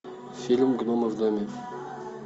фильм гномы в доме